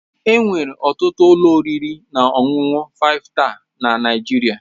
Enwere ọtụtụ ụlọ oriri na ọṅụṅụ 5star na Nigeria